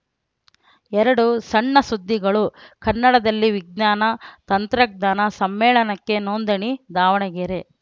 ಎರಡು ಸಣ್ಣ ಸುದ್ದಿಗಳು ಕನ್ನಡದಲ್ಲಿ ವಿಜ್ಞಾನ ತಂತ್ರಜ್ಞಾನ ಸಮ್ಮೇಳನಕ್ಕೆ ನೋಂದಣಿ ದಾವಣಗೆರೆ